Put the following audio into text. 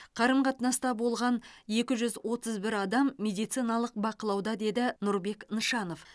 қарым қатынаста болған екі жүз отыз бір адам медициналық бақылауда деді нұрбек нышанов